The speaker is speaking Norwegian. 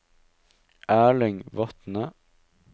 Erling Vatne